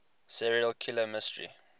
serial killer mystery